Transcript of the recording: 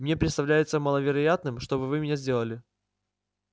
мне представляется маловероятным чтобы вы меня сделали